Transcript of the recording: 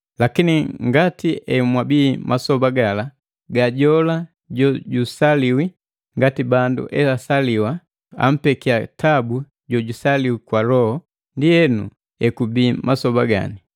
Lakini, ngati emwabii masoba gala ga jola jojusaliwi ngati bandu esaliwa, ampeki tabu jojusaliwi kwa Loho, ndienu ekubii masoba gani.